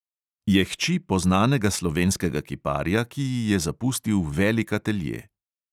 Je hči poznanega slovenskega kiparja, ki ji je zapustil velik atelje.